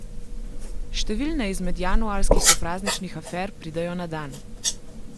Številne izmed januarskih poprazničnih afer pridejo na dan.